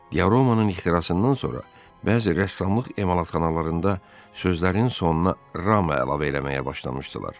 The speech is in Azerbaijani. Diaromanın ixtirasından sonra bəzi rəssamlıq emalatxanalarında sözlərin sonuna rama əlavə eləməyə başlamışdılar.